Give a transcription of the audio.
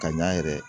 Ka ɲɛ yɛrɛ